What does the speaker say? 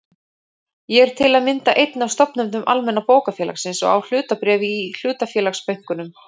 Ég er til að mynda einn af stofnendum Almenna bókafélagsins og á hlutabréf í hlutafélagsbönkunum.